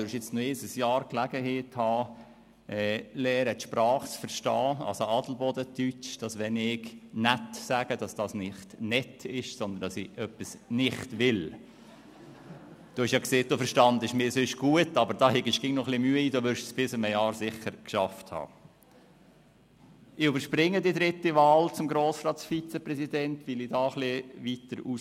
Sie, Hannes Zaugg, hatten bereits Gelegenheit während eines Jahres, und Sie werden nochmals ein Jahr lang Gelegenheit haben, die Sprache zu verstehen, also «Adelbodner Deutsch»: